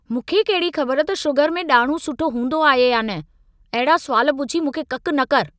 मूंखे कहिड़ी खबर त शुगर में ॾाड़िहूं सुठो हूंदो आहे या न? अहिड़ा सुवाल पुछी मूंखे ककि न करि।